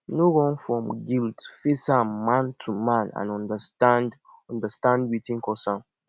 no run from guilt face am man to man and undastand undastand wetin cause am